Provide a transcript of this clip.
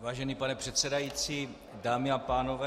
Vážený pane předsedající, dámy a pánové.